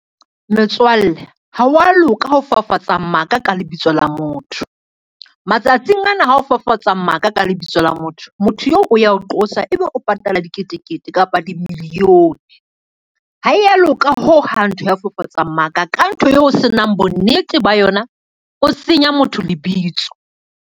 Metswalle ha wa loka ho fafatsa maka ka lebitso la motho. Matsatsing ana ha o fafatsa maka ka lebitso la motho, motho eo o ya o qosa ebe o patale la diketekete kapa di-million-e, ha e ya loka hohang ntho ya ho fafatsa maka ka ntho eo o senang bonnete ba yona, o senya motho lebitso.